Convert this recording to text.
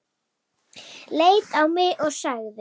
Leit á mig og sagði